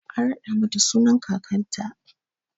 An raɗa mata sunan kakanta.